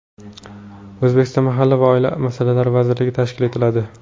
O‘zbekistonda Mahalla va oila masalalari vazirligi tashkil etiladi.